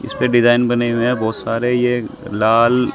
इसपे डिजाइन बने हुए हैं बहुत सारे ये लाल--